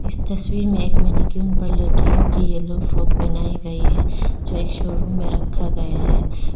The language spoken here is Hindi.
इस तस्वीर मे एक मैनिक्विन पर लड़कियों की येलो फ्रॉक पहनाई गई है जो एक शोरूम में रखा गया है।